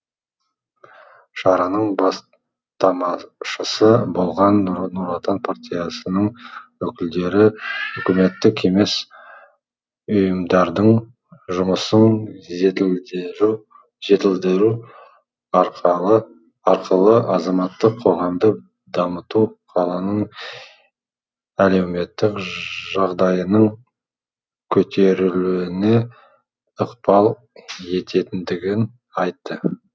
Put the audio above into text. шараның бастамашысы болған нұр отан партиясының өкілдері үкіметтік емес ұйымдардың жұмысын жетілдіру арқылы азаматтық қоғамды дамыту қаланың әлеуметтік жағдайының көтерілуіне ықпал ететіндігін айтты